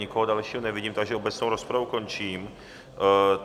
Nikoho dalšího nevidím, takže obecnou rozpravu končím.